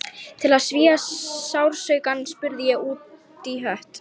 Til að svía sársaukann spurði ég útí hött